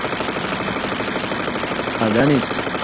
അതാണ്